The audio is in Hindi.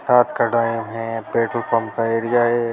रात का टाइम है पेट्रोल पंप का एरिया है।